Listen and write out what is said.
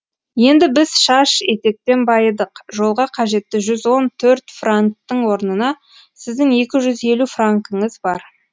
енді біз шаш етектен байыдық жолға қажетті жүз он төрт франктің орнына сіздің екі жүз елу франкіңіз бар